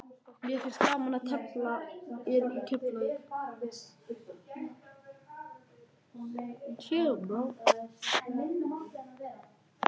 Mér finnst gaman að tefla í Keflavík.